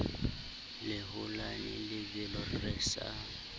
le holane lebelo re sa